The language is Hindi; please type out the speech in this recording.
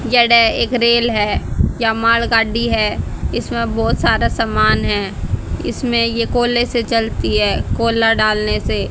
एक रेल है या माल गाड़ी है इसमें बहोत सारा समान है इसमें ये कोले से चलती हैं कोला डालने से।